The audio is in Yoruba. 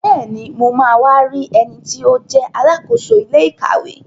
Bẹ́ẹ̀ni, mo ma wá rí ẹniti ó jẹ́ Alákóso ilé ìkàwé